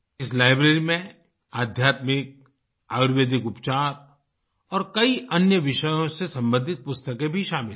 इस लाइब्रेरी में आध्यात्मिक आयुर्वेदिक उपचार और कई अन्य विषयों से सम्बंधित पुस्तकें भी शामिल हैं